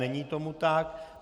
Není tomu tak.